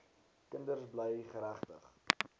kinders bly geregtig